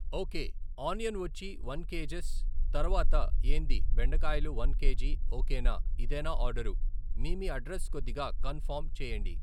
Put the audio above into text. Okay, onion వచ్చి one KGs, తర్వాత ఏంది బెండకాయలు వన్ కేజీ, ఓకేనా, ఇదేనా ఆర్డరు ? మీ మీ అడ్రస్ కొద్దిగా కన్ఫార్మ్ చేయండి